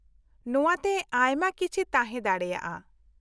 -ᱱᱚᱶᱟᱛᱮ ᱟᱭᱢᱟ ᱠᱤᱪᱷᱤ ᱛᱟᱦᱮᱸ ᱫᱟᱲᱮᱭᱟᱜᱼᱟ ᱾